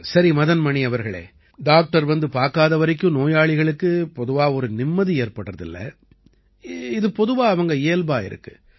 சரி மதன் மணி அவர்களே டாக்டர் வந்து பார்க்காத வரைக்கும் நோயாளிகளுக்குப் பொதுவா ஒரு நிம்மதி ஏற்படுறதில்லை இது பொதுவா அவங்க இயல்பா இருக்குது